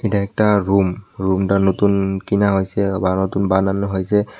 একটা রুম রুমটা নতুন কেনা হইসে বা নতুন বানানো হইসে।